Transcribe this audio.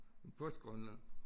Først Grønland